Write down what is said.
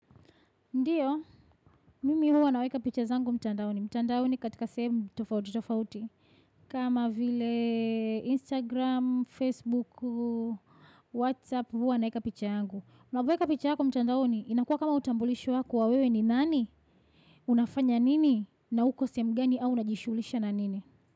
Ndiyo, mimi huwa naweka picha zangu mtandaoni. Mtandaoni katika same tofauti tofauti. Kama vile Instagram, Facebook, Whatsapp huwa naweka picha yangu. Unavoweka picha yako mtandaoni, inakuwa kama utambulisho wako wa wewe ni nani? Unafanya nini? Na uko sehem gani au unajishulisha na nini?